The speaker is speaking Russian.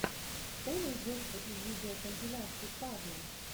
что найдется из видеокомпиляций павла